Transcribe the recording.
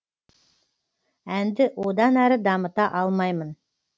әнді одан әрі дамыта алмаймын